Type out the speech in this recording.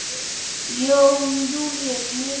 Jón Júlíus: Mikið?